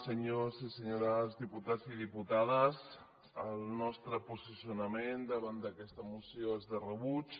senyors i senyores diputats i diputades el nostre posicionament davant d’aquesta moció és de rebuig